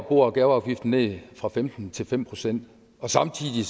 bo og gaveafgiften ned fra femten til fem procent og samtidig